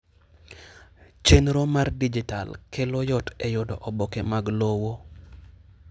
chenro mar dijital kelo yot e yudo oboke mag lowo.